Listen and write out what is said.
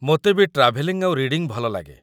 ମୋତେ ବି ଟ୍ରାଭେଲିଂ ଆଉ ରିଡିଂ ଭଲ ଲାଗେ ।